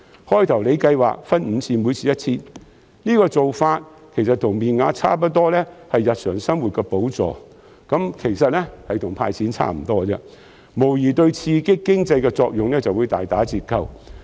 最初司長計劃分5次派發，每次 1,000 元，其實面額差不多是日常生活的補助，跟"派錢"差不多，無疑會對刺激經濟的作用大打折扣。